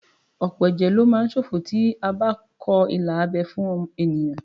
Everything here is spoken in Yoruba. Ọ̀pọ̀ ẹ̀jẹ̀ lo má ń ṣòfò tí a bá kọ ilà abẹ́ fún ènìyàn